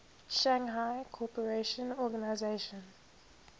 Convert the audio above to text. shanghai cooperation organization